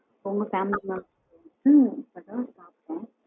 உங்க family members ட ஹம் இப்போ தான் சாப்பிட்டேன்.